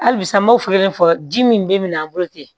Halisa n b'o fɔlɔ kelen fɔ ji min bɛ min na an bolo ten